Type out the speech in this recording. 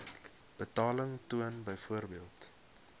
betaling toon byvoorbeeld